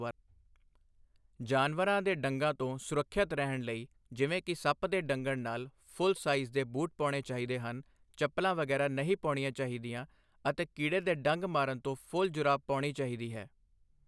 ਜਾਨਵਰਾਂ ਦੇ ਡੰਗਾਂ ਤੋਂ ਸੁਰੱਖਿਅਤ ਰਹਿਣ ਲਈ ਜਿਵੇਂ ਕਿ ਸੱਪ ਦੇ ਡੰਗਣ ਨਾਲ ਫੁੱਲ ਸਾਈਜ਼ ਦੇ ਬੂਟ ਪਾਉਣੇ ਚਾਹੀਦੇ ਹਨ ਚੱਪਲ ਵਗੈਰਾ ਨਹੀਂ ਪਾਉਣੀ ਚਾਹੀਦੀ ਅਤੇ ਕੀੜੇ ਦੇ ਡੰਗ ਮਾਰਨ ਤੋਂ ਫੁੱਲ ਜੁਰਾਬ ਪਹਿਨਣੀ ਚਾਹੀਦੀ ਹੈ।